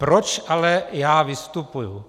Proč ale já vystupuji?